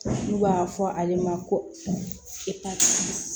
N'u b'a fɔ ale ma ko